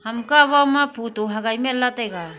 ham kaw bama photo hogau men lah ley taiga .